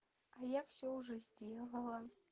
а я всё уже сделала